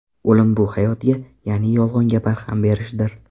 O‘lim bu hayotga, ya’ni yolg‘onga barham berishdir.